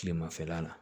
Kilemafɛla la